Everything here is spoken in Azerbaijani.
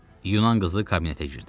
Yunan qızı kabinetə girdi.